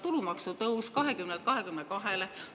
Tulumaksu tõus 20%‑lt 22%‑le.